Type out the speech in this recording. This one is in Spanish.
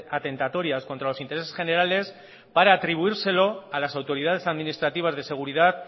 atentatorias contra los intereses generales para atribuírselo a las autoridades administrativas de seguridad